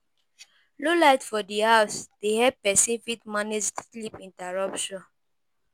Low light for di house dey help person fit manage sleep interruption